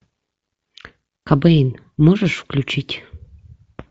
кобейн можешь включить